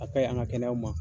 A kaɲi an ka kɛnɛyaw ma